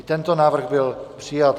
I tento návrh byl přijat.